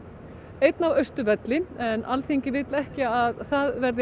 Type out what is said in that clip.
einn af Austurvelli en Alþingi vill ekki að það verði